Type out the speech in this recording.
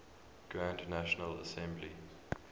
grand national assembly